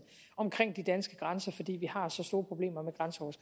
omkring de danske grænser fordi vi har så store problemer